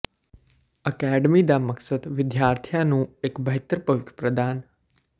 academy ਦਾ ਮਕਸਦ ਵਿਦਿਆਰਥੀਆਂ ਨੂੰ ਇੱਕ ਬਿਹਤਰ ਭਵਿੱਖ ਪ੍ਰਦਾਨ